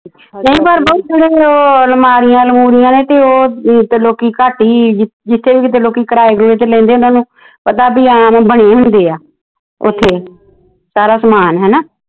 ਨਹੀਂ ਪਰ ਬਾਊ ਥੋੜ੍ਹਾ ਜਿਹਾ ਉਹ ਅਲਮਾਰੀਆਂ ਉਲਮਾਰੀਆ ਨੇ ਤੇ ਉਹ ਤੇ ਲੋਕੀ ਘੱਟ ਈ ਜਿਥੇ ਵੀ ਕਿਤੇ ਲੋਕੀ ਕਿਰਾਏ ਕੁਰਾਏ ਤੇ ਲੈਂਦੇ ਓਹਨਾ ਨੂੰ ਪਤਾ ਬੀ ਬਣੀ ਹੁੰਦੀ ਆ ਉੱਥੇ ਸਾਰਾ ਸਮਾਨ ਹੇਨਾ।